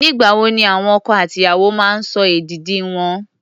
Nígbà wo ni àwọn ọkọ àti ìyàwó máa ń sọ èdìdì wọn?